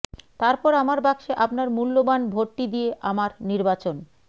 তারপর আমার বাক্সে আপনার মূল্যবান ভোটটি দিয়ে আমার নির্বাচন